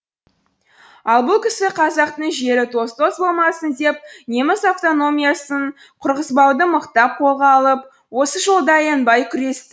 ал бұл кісі қазақтың жері тоз тоз болмасын деп неміс автономиясын құрғызбауды мықтап қолға алып осы жолда аянбай күресті